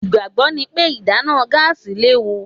Ìgbàgbọ́ ni pé ìdáná gáàsì léwu.